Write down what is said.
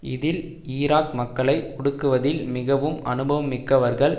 இதில் ஈராக் மக்களை ஒடுக்குவதில் மிகவும் அனுபவம் மிக்கவர்கள்